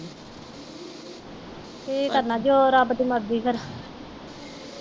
ਕੀ ਕਰਨਾ ਜੋ ਰੱਬ ਦੀ ਮਰਜ਼ੀ ਫਿਰ।